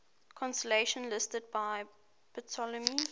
constellations listed by ptolemy